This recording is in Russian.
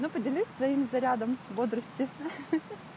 но поделюсь своими зарядом бодрости ха-ха